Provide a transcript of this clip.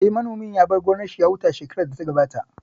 Eh, manomin ya bar gonar shi ya huta shekarar da ta gabata